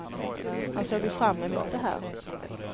Han såg ju fram emot det här.